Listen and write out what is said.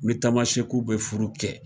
U ni tamasɛkiw bɛ furu kɛ.